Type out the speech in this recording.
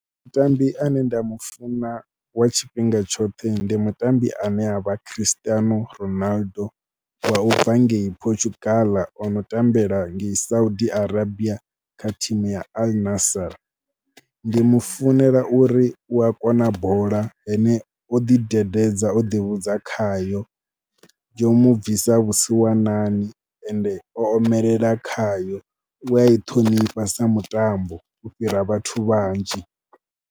Mutambi ane nda mu funa wa tshifhinga tshoṱhe ndi mutambi ane a vha Cristiano Ronaldo wa u bva ngei Portugal o no tambela ngei Saudi Arabia kha thimu ya Al'Nassir. Ndi mu funela uri u ya kona bola ane o ḓidededza, o ḓivhudza khayo, yo mu bvisa vhusiwanani ende o omelela khayo. U a i ṱhonifha sa mutambo u fhira vhathu vhanzhi.